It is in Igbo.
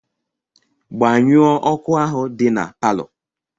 Gbanyụọ ọkụ ahụ dị na palọ!